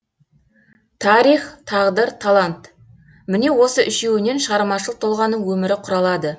тарих тағдыр талант міне осы үшеуінен шығармашыл тұлғаның өмірі құралады